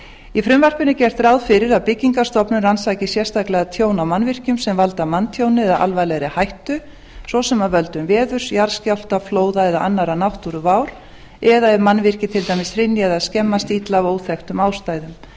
í frumvarpinu er gert ráð fyrir að byggingarstofnun rannsaki sérstaklega tjón á mannvirkjum sem valda manntjóni eða alvarlegri hættu svo sem af völdum veðurs jarðskjálfta flóða eða annarra náttúruvár eða ef mannvirki til dæmis hrynja eða skemmast illa af óþekktum ástæðum